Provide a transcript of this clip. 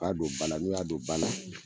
K'a don bala n'u y'a don ba la.